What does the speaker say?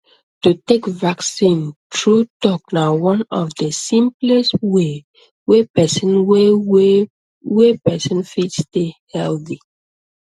to take vaccine true talk na one of the simplest way wey person way wey person fit take stay healthy